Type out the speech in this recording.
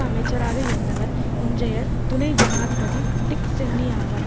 அமைச்சராக இருந்தவர் இன்றைய துணை ஜனாதிபதி டிக் சென்னி ஆவார்